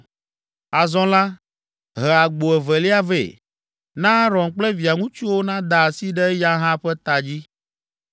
“Azɔ la, he agbo evelia vɛ. Na Aron kple via ŋutsuwo nada asi ɖe eya hã ƒe ta dzi.